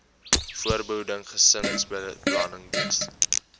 voorbehoeding gesinsbeplanning diens